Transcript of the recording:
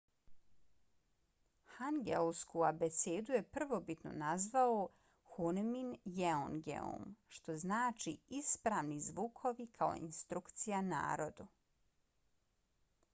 hangeulsku abecedu je prvobitno nazvao hunmin jeongeum što znači ispravni zvukovi kao instrukcija narodu